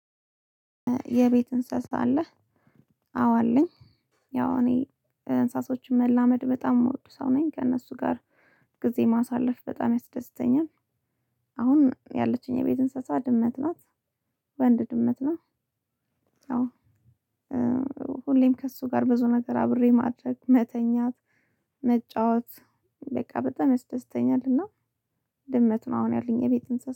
የቤት እንስሳ አለህ? አዎ አለኝ ያው እኔ እንሳሶችን መላመድ በጣም የምወዱ ሰው ነኝ። ከእነሱ ጋር ጊዜ ማሳለፍ በጣም ያስደስተኛል። አሁን ያለችኝ የቤት እንስሳ ድመት ናት። ወንድ ድመት ናት። አዎ ሁሌም ከእሱ ጋር ብዙ ነገር አብሬ ማድረግ :መተኛት: መጫወት- በቃ በጣም ያስደስተኛል። እና- ድመት ነው አሁን ያለኝ የቤት እንስሳ።